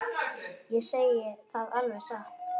Ég segi það alveg satt.